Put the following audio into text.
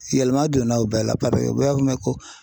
Yɛlɛma donna u bɛɛ la ko